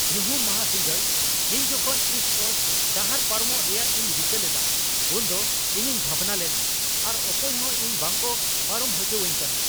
ᱧᱩᱦᱩᱢ ᱢᱟᱦᱟ ᱥᱤᱸᱜᱟᱹᱲ ᱤᱧ ᱡᱚᱠᱷᱚᱱ ᱤᱥᱴ ᱠᱳᱥᱴ ᱰᱟᱦᱟᱨ ᱯᱟᱨᱚᱢᱚᱜ ᱨᱮᱭᱟᱜ ᱤᱧ ᱨᱤᱠᱟᱹ ᱞᱮᱫᱟ ᱩᱱᱫᱚ ᱤᱧᱤᱧ ᱵᱷᱟᱵᱽᱱᱟ ᱞᱮᱱᱟ ᱟᱨ ᱚᱠᱚᱭ ᱦᱚᱸ ᱤᱧ ᱵᱟᱝᱠᱚ ᱯᱟᱨᱚᱢ ᱦᱚᱪᱚᱣᱟᱹᱧ ᱠᱟᱱᱟ ᱾